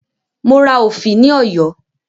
Mo ra òfì ní Ọ̀yọ́